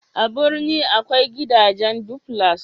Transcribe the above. a birni akwai gidajen duflas